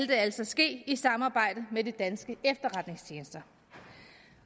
det altså ske i samarbejde med de danske efterretningstjenester